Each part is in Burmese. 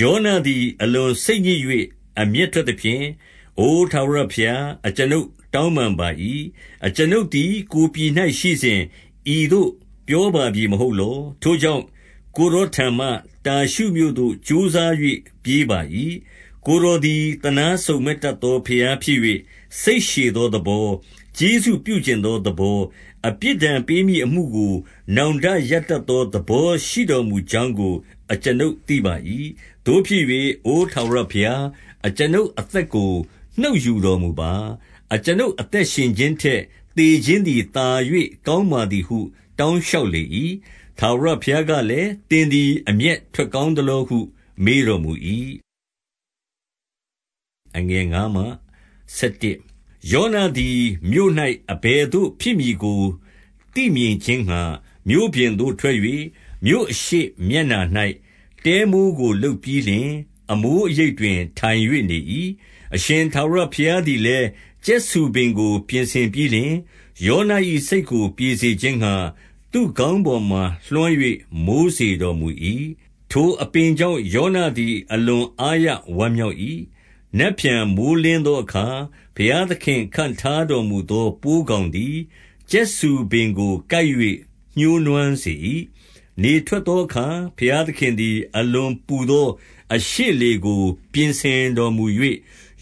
ယောနသည် အလွန်စိတ်ညစ်၍ အမျက်ထွက် သဖြင့်၊ အို ထာဝရဘုရား၊ အကျွန်ုပ်တောင်းပန်ပါ၏။ အကျွန်ုပ်သည် ကိုယ်ပြည်၌ရှိစဉ်၊ ဤသို့ပြောပါပြီမဟုတ် လော။ ထိုကြောင့်၊ ကိုယ်တော်ထံမှ တာရှုမြို့သို့ ကြိုးစား၍ ပြေးပါ၏။ 2 ကိုယ်တော်သည် သနားစုံမက်တတ်သော ဘုရား ဖြစ်၍ စိတ်ရှည်သောသဘော၊ ကျေးဇူးပြုချင်သောသ ဘော၊ အပြစ်ဒဏ်ပေးမည့်အမှုကို နောင်တရတတ်သော သဘောရှိတော်မူကြောင်းကို အကျွန်ုပ်သိပါ၏။ 3 သို့ဖြစ်၍၊ အိုထာဝရဘုရား၊ အကျွန်ုပ်အသက်ကို နှုတ်ယူတော်မူပါ။ အကျွန်ုပ်အသက်ရှင်ခြင်းထက် သေ ခြင်းသည် သာ၍ကောင်းပါသည်ဟု တောင်းလျှောက်လေ ၏။ 4 ထာဝရဘုရားကလည်း၊ သင်သည် အမျက်ထွက် ကောင်းသလောဟု မေးတော်မူ၏။ 5 ယောနသည် မြို့၌ အဘယ်သို့ဖြစ်မည်ကို သိမြင် ခြင်းငှါ၊ မြို့ပြင်သို့ထွက်၍ မြို့အရှေ့မျက်နှာ၌ တဲမိုးကို လုပ်ပြီးလျှင်၊ အမိုးအရိပ်တွင် ထိုင်၍နေ၏။ 6 အရှင်ထာဝရဘုရားသည်လည်း ကြက်ဆူပင်ကို ပြင်ဆင်ပြီးလျှင်၊ ယောန၏စိတ်ကို ပြေစေခြင်းငှါ သူ့ ခေါင်းပေါ်မှာ လွှမ်း၍ မိုးစေတော်မူ၏။ ထိုအပင်ကြောင့် ယောနသည် အလွန်အားရဝမ်းမြောက်၏။ 7 နက်ဖြန်မိုဃ်းလင်းသောအခါ ဘုရားသခင် ခန့် ထားတော်မူသော ပိုးကောင်သည် ကြက်ဆူပင်ကို ကိုက်၍ ညှိုးနွမ်းစေ၏။ 8 နေထွက်သောအခါ ဘုရားသခင်သည် အလွန်ပူ သောအရှေ့လေကို ပြင်ဆင်တော်မူ၍၊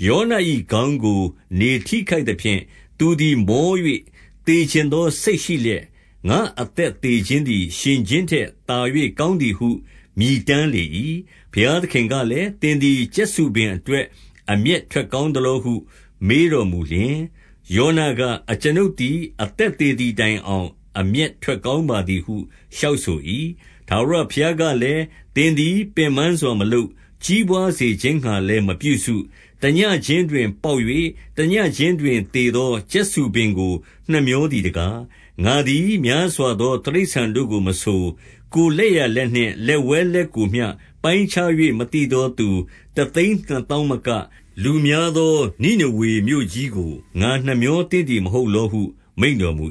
ယောန၏ခေါင်းကို နေထိခိုက်သဖြင့် သူသည် မော၍ သေချင်သောစိတ်ရှိ လျက်၊ ငါ့အသက်သေခြင်းသည် ရှင်ခြင်းထက် သာ၍ ကောင်းသည်ဟု မြည်တမ်းလေ၏။ 9 ဘုရားသခင်ကလည်း၊ သင်သည် ကြက်ဆူပင် အတွက် အမျက်ထွက်ကောင်းသလောဟု မေးတော်မူ လျှင်၊ ယောနက၊ အကျွန်ုပ်သည် အသက်သေသည်တိုင် အောင် အမျက်ထွက်ကောင်းပါသည်ဟု လျှောက်ဆို၏။ 10 ထာဝရဘုရားကလည်း၊ သင်သည် ပင်ပန်းစွာ မလုပ်၊ ကြီးပွားစေခြင်းငှါလည်း မပြုစု၊ တညဉ့်ခြင်းတွင် ပေါက်၍ တညဉ့်ခြင်းတွင် သေသော ကြက်ဆူပင်ကို နှမြောသည်တကား။ 11 ငါသည် များစွာသော တိရစ္ဆာန်တို့ကိုမဆို၊ ကိုယ်လက်ျာလက်နှင့် လက်ဝဲလက်ကိုမျှ ပိုင်းခြား၍ မသိ သော သူတသိန်းနှစ်သောင်းမက၊ လူများသော နိနေဝေ မြို့ကြီးကို ငါနှမြောသင့်သည်မဟုတ်လောဟု မိန့်တော် မူ